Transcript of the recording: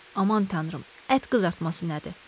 Aman Tanrım, ət qızartması nədir?